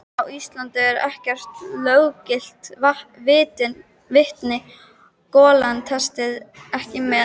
Á Íslandi er ekkert löggilt vitni: golan telst ekki með.